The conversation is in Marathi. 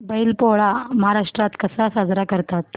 बैल पोळा महाराष्ट्रात कसा साजरा करतात